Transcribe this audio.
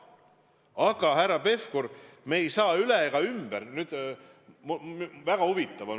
Aga, härra Pevkur, me ei saa üle ega ümber ...